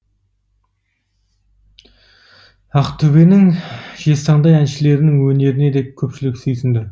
ақтөбенің жезтаңдай әншілерінің өнеріне де көпшілік сүйсінді